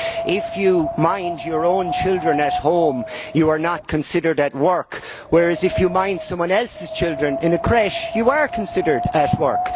if you mind your own children at home, you are not considered at work, whereas if you mind someone else's children in a crèche you are considered at work.